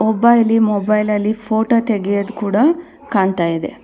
ಒಬ್ಬ ಇಲ್ಲಿ ಮೊಬೈಲ್ ಅಲ್ಲಿ ಫೋಟೋ ತೆಗೆಯೋದ್ ಕೂಡ ಕಾಣ್ತಾ ಇದೆ.